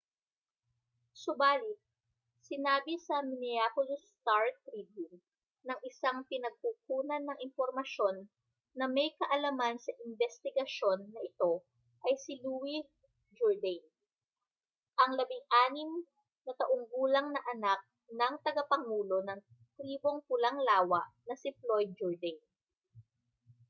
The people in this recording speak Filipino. subali't sinabi sa minneapolis star-tribune ng isang pinagkukunan ng impormasyon na may kaalaman sa imbestigasyon na ito ay si louis jourdain ang 16 na taong gulang na anak ng tagapangulo ng tribong pulang lawa na si floyd jourdain